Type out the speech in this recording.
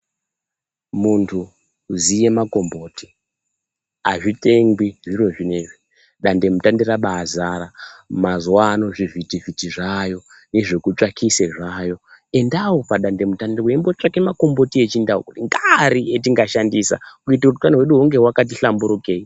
Muntu ziye makomboti, hazvitengwi zviro zvinezvi dande-mutande rabaazara, mazuvano zvivhitivhiti zvaayo, nezvokutsvakise zvaayo. Endawo padande-mutande meimbotsvake makomboti echindau, ngeari etingashandisa kuitie kuti utano hwedu hunge hwakati hlamburukei.